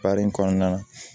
Para in kɔnɔna na